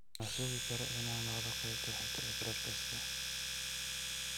Ma sugi karo inaan maqlo qaybta xigta ee podcast-ka